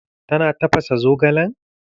Ta na tafasa zogalen?